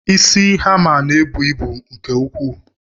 Isi hammer ná-ebu ịbụ nke ukwuu.